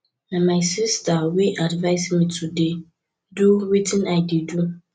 na my sister wey advice me to dey do wetin i dey do